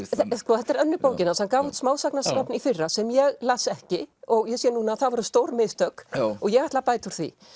þetta er önnur bókin hans hann gaf út smásagnasafn í fyrra sem ég las ekki og ég sé núna að það voru stór mistök og ég ætla að bæta úr því